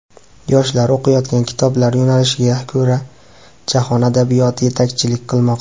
Yoshlar o‘qiyotgan kitoblar yo‘nalishiga ko‘ra, jahon adabiyoti yetakchilik qilmoqda.